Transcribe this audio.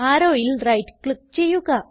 Arrowൽ right click ചെയ്യുക